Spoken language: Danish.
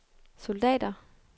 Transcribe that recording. soldater